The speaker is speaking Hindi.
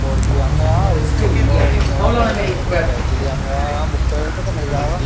और मेरा बेग भी फट गया बेग भी लियांगा वहाँ बुक सेलर पर से मिल जायेगा।